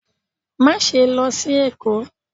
Maṣe lọ sí Èko!